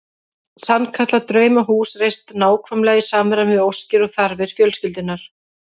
Sannkallað draumahús reist nákvæmlega í samræmi við óskir og þarfir fjölskyldunnar.